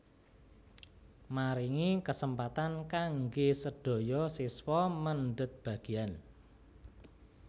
Maringi kesempatan kanggé sedaya siswa mendhet bagian